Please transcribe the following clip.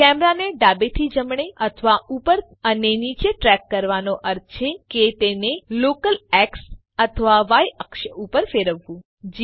કેમેરાને ડાબે થી જમણે અથવા ઉપર અને નીચે ટ્રેક કરવાનો અર્થ છે કે તેને લોકલ એક્સ અથવા ય અક્ષ ઉપર ફેરવવું